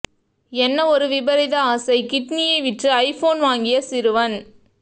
என்ன ஒரு விபரீத ஆசை கிட்னியை விற்று ஐபோன் வாங்கிய சிறுவன்